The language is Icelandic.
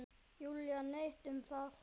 Júlíu neitt um það.